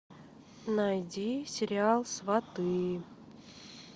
найди сериал сваты